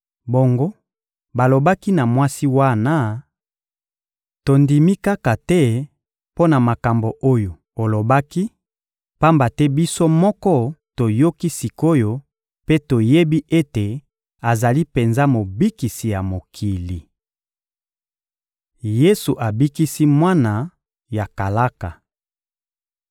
Bongo balobaki na mwasi wana: — Tondimi kaka te mpo na makambo oyo olobaki, pamba te biso moko toyoki sik’oyo mpe toyebi ete azali penza Mobikisi ya mokili. Yesu abikisi mwana ya kalaka (Mat 8.5-13; Lk 7.1-10)